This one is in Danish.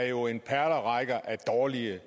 jo en perlerække af dårlige